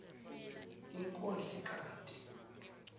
inkondlokati